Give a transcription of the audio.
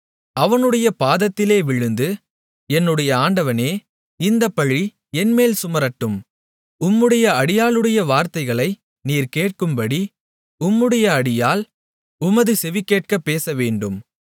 அவனுடைய பாதத்திலே விழுந்து என்னுடைய ஆண்டவனே இந்தப்பழி என்மேல் சுமரட்டும் உம்முடைய அடியாளுடைய வார்த்தைகளை நீர் கேட்கும்படி உம்முடைய அடியாள் உமது செவி கேட்கப் பேசவேண்டும்